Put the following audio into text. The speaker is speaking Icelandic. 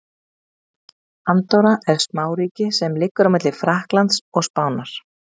Andorra er smáríki sem liggur á milli Frakklands og Spánar.